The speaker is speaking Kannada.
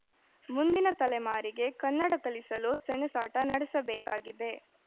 ಮುಂದಿನ ತಲೆಮಾರಿಗೆ ಕನ್ನಡ ಕಲಿಸಲು ಸೆಣಸಾಟ ನಡೆಸಬೇಕಾಗಿದೆ